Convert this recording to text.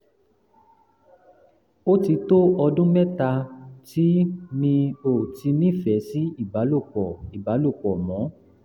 ó ti tó ọdún mẹ́ta tí mi ò ti nífẹ̀ẹ́ sí ìbálòpọ̀ ìbálòpọ̀ mọ́